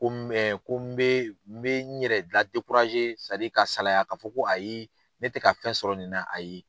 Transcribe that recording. Ko ko n bee n bee n yɛrɛ la sadi ka salaya ka fɔ ko ayi ne tɛ ka fɛn sɔrɔ nin na ayi.